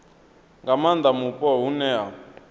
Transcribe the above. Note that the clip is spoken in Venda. nga maanda mupo hune ha